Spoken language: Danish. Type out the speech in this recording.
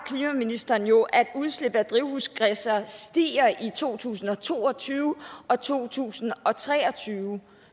klimaministeren jo at udslippet af drivhusgasser stiger i to tusind og to og tyve og to tusind og tre og tyve